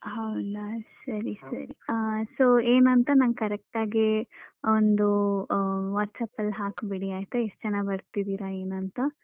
ಹೌದಾ ಸರಿ ಸರಿ ಹ ಅಹ್ so ಏನಂತ ನಂಗ್ correct ಆಗಿ ಅಹ್ ಒಂದು ಅಹ್ WhatsApp ಅಲ್ಲಿ ಹಾಕ್ಬಿಡಿ ಎಷ್ಟ್ ಜನ ಬರ್ತಿದೆರ ಏನ್ ಅಂತ